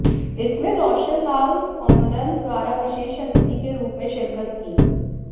इसमें रोशन लाल कौंडल द्वारा विशेष अतिथि के रूप में शिरकत की